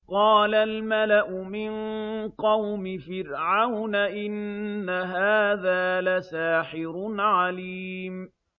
قَالَ الْمَلَأُ مِن قَوْمِ فِرْعَوْنَ إِنَّ هَٰذَا لَسَاحِرٌ عَلِيمٌ